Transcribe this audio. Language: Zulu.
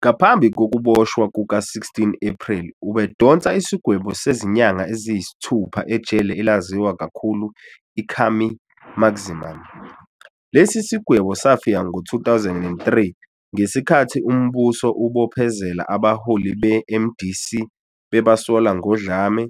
Ngaphambi kokuboshwa kuka-16 Ephreli ubedonse isigwebo sezinyanga eziyisithupha ejele elaziwa kakhulu iKhami Maximum. Lesi sigwebo safika ngo-2003 ngesikhathi umbuso ubophezela abaholi beMDC bebasola ngodlame,